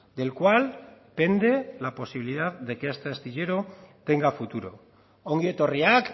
del cual pende la posibilidad de que este astillero tenga futuro ongi etorriak